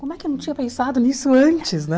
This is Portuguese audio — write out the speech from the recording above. Como é que eu não tinha pensado nisso antes, né?